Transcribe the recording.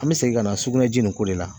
An bɛ segin ka na sugunɛji nin ko de la